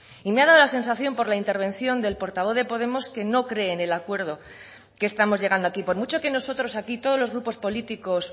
y me ha dado la sensación por la intervención del portavoz de podemos que no cree en el acuerdo que estamos llegando aquí por mucho que nosotros aquí todos los grupos políticos